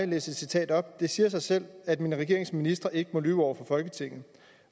læse et citat op det siger sig selv at min regerings ministre ikke må lyve over for folketinget og